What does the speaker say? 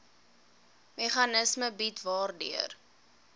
meganisme bied waardeur